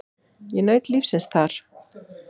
Ég naut lífsins þar.